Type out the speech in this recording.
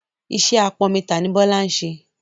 Iṣẹ́ apọnmi tà ni Bọ́lá ń ṣẹ.